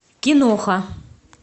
киноха